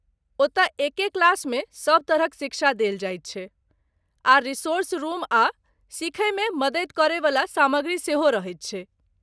ओतय एके क्लासमे सभ तरहक शिक्षा देल जाइत छै, आर रिसोर्स रुम आ सिखयमे मदति करयवला सामग्री सेहो रहैत छै।